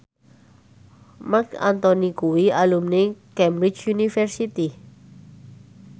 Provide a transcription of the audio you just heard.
Marc Anthony kuwi alumni Cambridge University